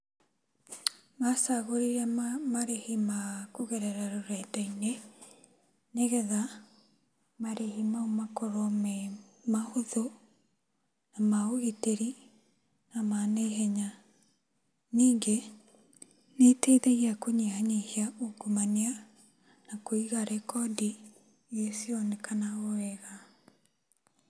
Macagũrire marĩhi makũgera rũrenda-inĩ, nĩgetha marĩhi mau makorwo memahũthũ, namaũgitĩri, namanaihenya. Nyingĩ, nĩiteithagia kũnyihanyihia ungumania, nakũiga rekodi iria cirĩonekanaga o wega.